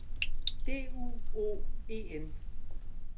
D U O E N